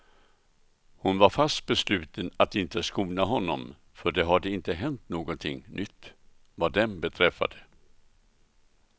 Hon var fast besluten att inte skona honom, för det hade inte hänt någonting nytt vad dem beträffade.